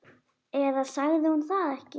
Eða sagði hún það ekki?